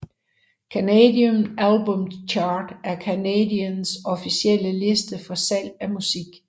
Canadian Albums Chart er Canadas officielle liste for salg af musik